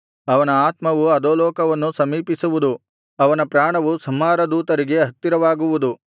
ಅವನ ಆತ್ಮವು ಅಧೋಲೋಕವನ್ನು ಸಮೀಪಿಸುವುದು ಅವನ ಪ್ರಾಣವು ಸಂಹಾರದೂತರಿಗೆ ಹತ್ತಿರವಾಗುವುದು